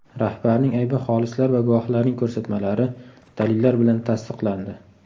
Rahbarning aybi xolislar va guvohlarning ko‘rsatmalari, dalillar bilan tasdiqlandi.